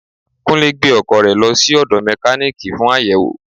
Kúnlé gbẹ́ ọkọ̀ rẹ lọ sí ódo Mekaniiki fún àyẹ̀wò.